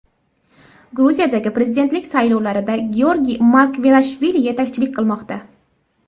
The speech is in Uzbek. Gruziyadagi Prezidentlik saylovlarida Georgiy Margvelashvili yetakchilik qilmoqda.